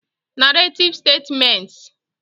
Narrative Statements